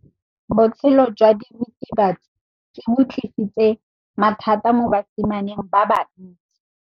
Botshelo jwa diritibatsi ke bo tlisitse mathata mo basimaneng ba bantsi.